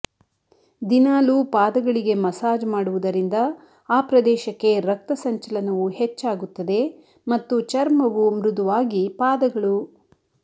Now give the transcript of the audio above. ದಿನಾಲೂ ಪಾದಗಳಿಗೆ ಮಸಾಜ್ ಮಾಡುವುದರಿಂದ ಆ ಪ್ರದೇಶಕ್ಕೆ ರಕ್ತಸಂಚಲನವು ಹೆಚ್ಚಾಗುತ್ತದೆ ಮತ್ತು ಚರ್ಮವು ಮೃದುವಾಗಿ ಪಾದಗಳು